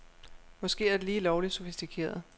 Måske er det lige lovligt sofistikeret.